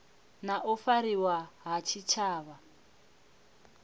na u fariwa ha tshitshavha